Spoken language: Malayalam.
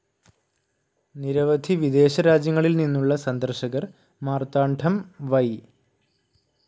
നിരവവധി വിദേശ രാജ്യങ്ങളിൽ നിന്നുള്ള സന്ദർശകർ മാർത്താണ്ഡം വൈ.